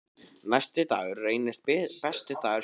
Næsti dagur reynist besti dagur sumarsins.